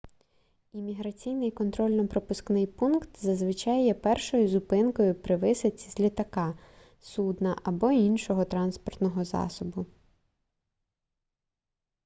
імміграційний контрольно-пропускний пункт зазвичай є першою зупинкою при висадці з літака судна або іншого транспортного засобу